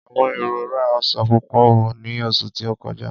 Àwọn èrò rá ọsan púpò ní oṣù tí ó kọjá.